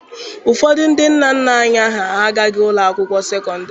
Ụfọdụ ndị nna nna anyị ha agaghị ụlọ akwụkwọ sekọndịrị.